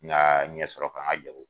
Nga ɲɛ sɔrɔ ka n ka jago kɛ